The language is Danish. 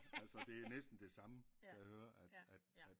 Altså det er næsten det samme kan jeg høre at at at